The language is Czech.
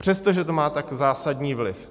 Přestože to má tak zásadní vliv.